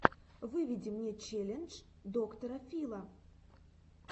выведи мне челлендж доктора фила